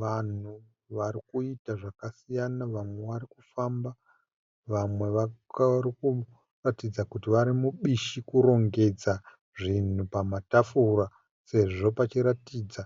Vanhu varikuita zvakasiyana vamwe vari kufamba, vamwe vari kuratidza kuti vari mubishi kurongedza zvinhu pamatafura, sezvo pachiratidza